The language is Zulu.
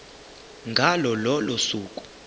ngalo lolo suku